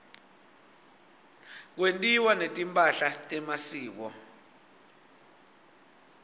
kwentiwa netimpahla temasiko